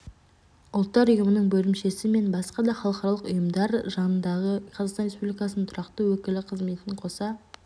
ұлттар ұйымының бөлімшесі мен басқа да халықаралық ұйымдар жанындағы қазақстан республикасының тұрақты өкілі қызметін қоса